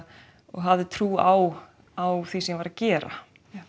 og hafði trú á á því sem ég var að gera